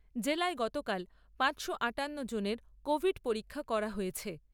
জেলায় গতকাল পাঁচশো আঠান্ন জনের কোভিড পরীক্ষা করা হয়েছে।